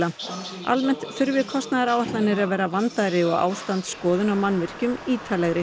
almennt þurfi kostnaðaráætlanir að vera vandaðri og ástandsskoðun á mannvirkjum ítarlegri